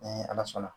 Ni ala sɔnna